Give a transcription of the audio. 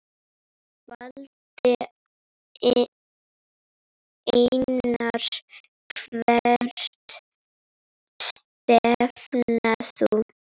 Valdi Einars Hvert stefnir þú?